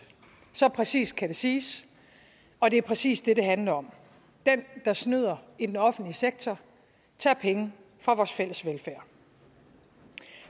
så præcist kan det siges og det er præcis det det handler om den der snyder i den offentlige sektor tager penge fra vores fælles velfærd